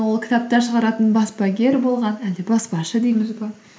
ол кітаптар шығаратын баспагер болған әлде баспашы дейміз бе